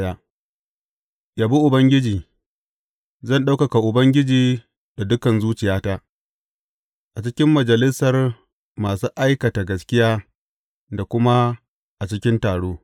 Zan ɗaukaka Ubangiji da dukan zuciyata a cikin majalisar masu aikata gaskiya da kuma a cikin taro.